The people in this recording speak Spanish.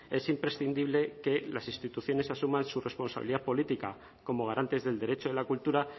es imprescindible que las instituciones asuman su responsabilidad política como garantes del derecho de la cultura